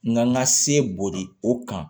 N ka n ka se boli o kan